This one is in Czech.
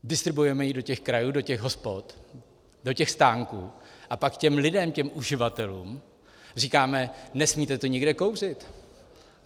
Distribuujeme ji do těch krajů, do těch hospod, do těch stánků, a pak těm lidem, těm uživatelům říkáme, nesmíte tu nikde kouřit.